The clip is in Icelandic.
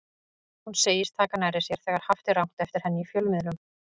Hún segist taka nærri sér þegar haft er rangt eftir henni í fjölmiðlum.